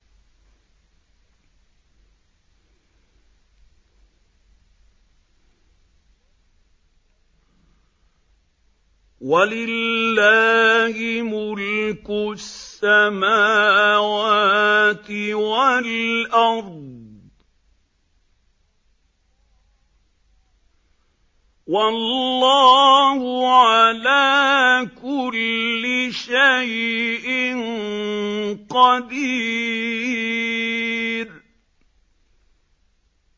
وَلِلَّهِ مُلْكُ السَّمَاوَاتِ وَالْأَرْضِ ۗ وَاللَّهُ عَلَىٰ كُلِّ شَيْءٍ قَدِيرٌ